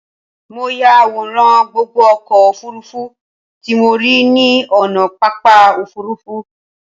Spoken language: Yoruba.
Mo ya àwòrán gbogbo ọkọ̀ òfurufú tí mo rí ní ònà pápá òfurufú